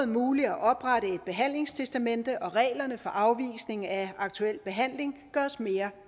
muligt at oprette et behandlingstestamente og reglerne for afvisning af aktuel behandling gøres mere